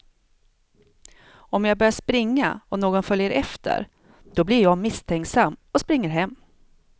Om jag börjar springa och någon följer efter, då blir jag misstänksam och springer hem.